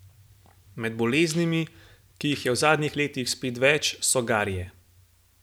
Med boleznimi, ki jih je v zadnjih letih spet več, so garje.